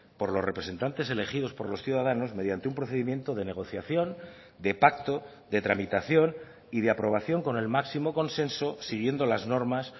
por los representantes elegidos por los ciudadanos mediante un procedimiento de negociación de pacto de tramitación y de aprobación con el máximo consenso siguiendo las normas